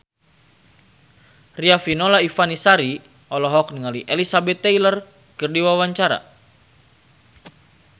Riafinola Ifani Sari olohok ningali Elizabeth Taylor keur diwawancara